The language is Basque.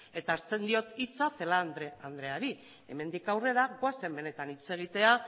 eta hartzen diot hitza celaá andreari hemendik aurrera gauzen benetan hitz egitera